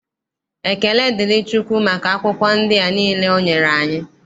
Ekele dịrị Chukwu maka akwụkwọ ndị a niile o nyere anyị.